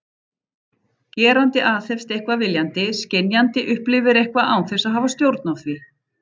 Gerandi aðhefst eitthvað viljandi, skynjandi upplifir eitthvað án þess að hafa stjórn á því.